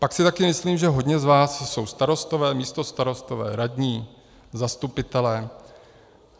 Pak si taky myslím, že hodně z vás jsou starostové, místostarostové, radní, zastupitelé.